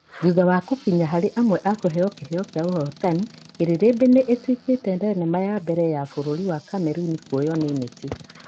Thutha wa gũkinya harĩ amwe a kũheo kĩheo kĩa ahotani, Kĩrĩrĩmbĩ nĩ ĩtuĩkĩte thenema ya mbere ya bururi wa Kameruni kuoywo nĩ Neti.